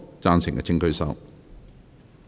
贊成的請舉手。